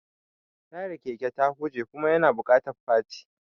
Tayar keke ta huje kuma yana buƙatar faci.